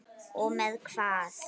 Og með hvað?